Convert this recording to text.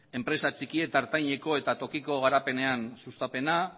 enpresa txiki eta ertaineko eta tokiko garapenean sustapena